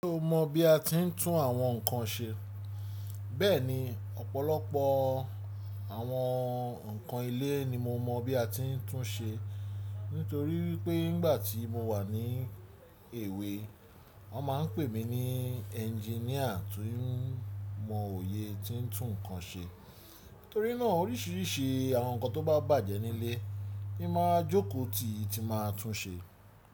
Ṣé o mọ̀ bí a ti ń tún àwọn nǹkan ṣe? Bẹ́ẹ̀ni, ọ̀pọ̀lọpọ̀ àwọn nǹkan ilé ni mo mọ̀ bí a ti ń tún ṣe. Nítorí pé nígbà tí mo wà ní èwe, wọ́n máa ń pè mí ní ẹnginíà tó mọ òye tí ń tún nǹkan ṣe. Nítorí náà oríṣiríṣi àwọn nǹkan tó bá bàjẹ́ nílé, mo máa jókòó tìti máa tún ṣe.